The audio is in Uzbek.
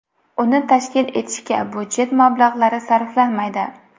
Uni tashkil etishga budjet mablag‘lari sarflanmaydi.